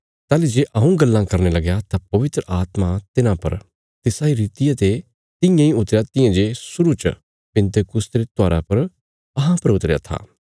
ताहली जे हऊँ गल्लां करने लगया तां पवित्र आत्मा तिन्हां परा तिसा इ रितिया ते तियां इ उतरया तियां जे शुरु च पिन्तेकुस्त रे त्योहारा पर अहां पर उतरया था